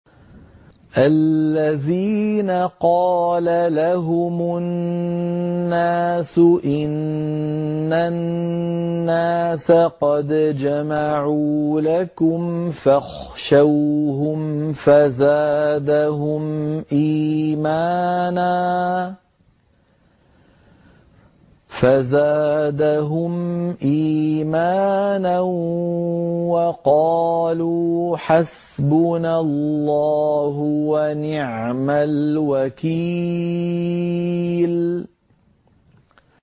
الَّذِينَ قَالَ لَهُمُ النَّاسُ إِنَّ النَّاسَ قَدْ جَمَعُوا لَكُمْ فَاخْشَوْهُمْ فَزَادَهُمْ إِيمَانًا وَقَالُوا حَسْبُنَا اللَّهُ وَنِعْمَ الْوَكِيلُ